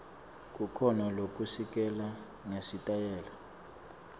kukhona lokusilelako ngesitayela